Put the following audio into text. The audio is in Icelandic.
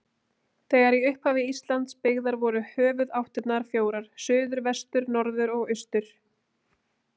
Þegar í upphafi Íslands byggðar voru höfuðáttirnar fjórar: suður, vestur, norður og austur.